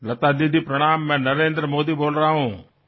লতা দিদি প্ৰণাম মই নৰেন্দ্ৰ মোদীয়ে কৈ আছো